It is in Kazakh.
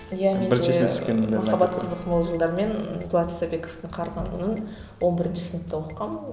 махаббат қызық мол жылдар мен дулат исабековтың қарғынын он бірінші сыныпта оқығанмын